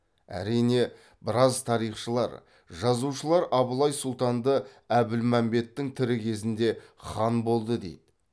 әрине біраз тарихшылар жазушылар абылай сұлтанды әбілмәмбеттің тірі кезінде хан болды дейді